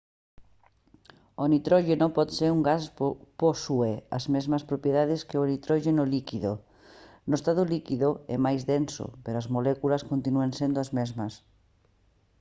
o nitróxeno por ser un gas posúe as mesmas propiedades que o nitróxeno líquido no estado líquido é máis denso pero as moléculas continúan sendo as mesmas